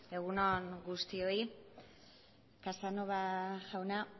egun on guztioi casanova jauna